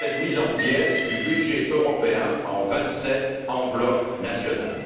à cette mise en pièces du budget européen en vingt sept enveloppes nationales!